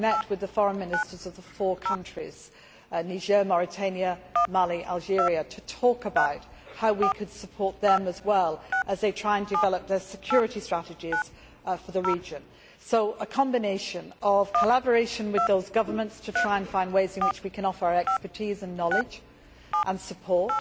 I met with the foreign ministers of the four countries Niger, Mauritania, Mali and Algeria to talk about how we could support them as well, as they try and develop their security strategies for the region firstly, by a combination of collaboration with those governments to try and find ways in which we can offer our expertise, knowledge and support